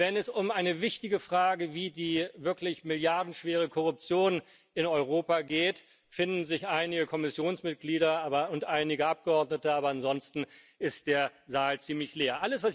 Wenn es um eine wichtige Frage wie die wirklich milliardenschwere Korruption in Europa geht, finden sich einige Kommissionsmitglieder und einige Abgeordnete, aber ansonsten ist der Saal ziemlich leer.